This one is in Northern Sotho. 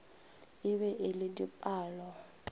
e be e le dipalo